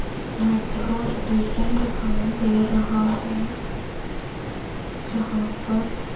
metro station दिखाई दे रहा है जहां पर --